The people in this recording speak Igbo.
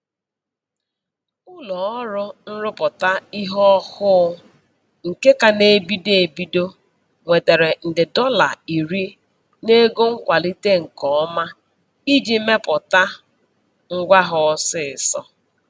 Ụlọọrụ nrụpụta ihe ọhụụ nke ka na-ebido ebido nwetara nde dọla iri n'ego nkwalite nke ọma iji mepụta ngwa ha ọsịịsọ.